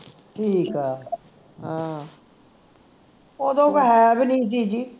ਠੀਕ ਹੈ ਓਦੋਂ ਕੋਈ ਹੈ ਵੀ ਨਹੀਂ ਸੀ ਜੀ